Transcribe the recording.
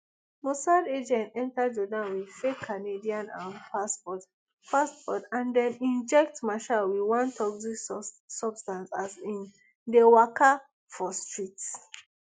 mossad agent enta jordan wit fake canadian um passport passport and dem inject meshaal wit one toxic substance as im de waka for street